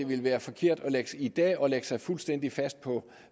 ville være forkert i dag at lægge sig fuldstændig fast på